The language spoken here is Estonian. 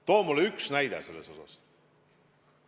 Too mulle üks näide!